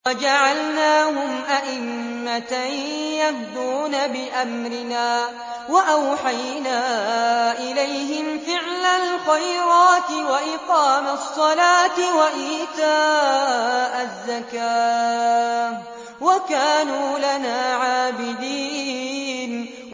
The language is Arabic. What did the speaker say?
وَجَعَلْنَاهُمْ أَئِمَّةً يَهْدُونَ بِأَمْرِنَا وَأَوْحَيْنَا إِلَيْهِمْ فِعْلَ الْخَيْرَاتِ وَإِقَامَ الصَّلَاةِ وَإِيتَاءَ الزَّكَاةِ ۖ وَكَانُوا لَنَا عَابِدِينَ